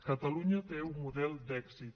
catalunya té un model d’èxit